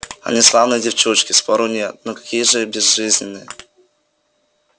они славные девчушки спору нет но какие же безжизненные